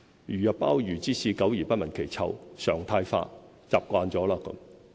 "如入鮑魚之肆，久而不聞其臭"，常態化，習慣了。